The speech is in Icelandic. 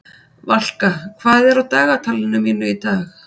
Valka, hvað er á dagatalinu mínu í dag?